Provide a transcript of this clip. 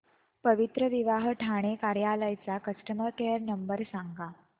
पवित्रविवाह ठाणे कार्यालय चा customer care number सांग